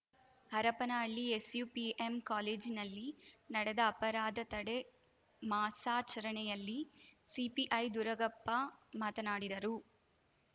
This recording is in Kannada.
ಹರಪನಹಳ್ಳಿ ಎಸ್‌ಯುಪಿಎಂ ಕಾಲೇಜಿನಲ್ಲಿ ನಡೆದ ಅಪರಾಧ ತಡೆ ಮಾಸಾಚರಣೆಯಲ್ಲಿ ಸಿಪಿಐ ದುರುಗಪ್ಪ ಮಾತನಾಡಿದರು